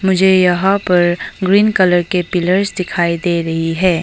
मुझे यहां पर ग्रीन कलर के पिलर्स दिखाई दे रही है।